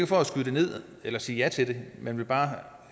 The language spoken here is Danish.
for at skyde det ned eller sige ja til det men jeg vil bare